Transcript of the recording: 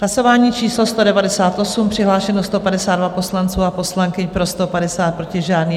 Hlasování číslo 198, přihlášeno 152 poslanců a poslankyň, pro 150, proti žádný.